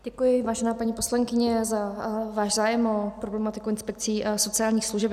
Děkuji, vážená paní poslankyně, za váš zájem o problematiku inspekcí sociálních služeb.